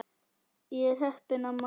Ég er heppin amma.